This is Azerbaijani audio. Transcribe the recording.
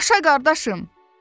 Yaşa qardaşım.